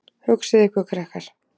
Hugsið ykkur, krakkar.